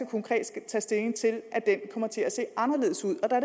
konkret skal tages stilling til at den kommer til at se anderledes ud og der